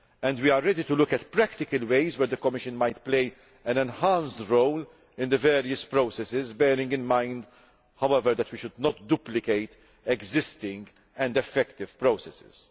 We are ready to look at practical ways in which the Commission might play an enhanced role in the various processes, bearing in mind, however, that we should not duplicate existing and effective processes.